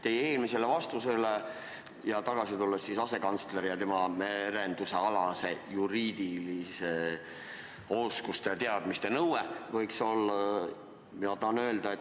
Teie eelmisele mulle antud vastusele tuginedes tulen tagasi asekantsleri ja tema merendusalaste juriidiliste oskuste ja teadmiste nõude juurde.